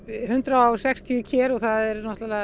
hundrað og sextíu ker og það er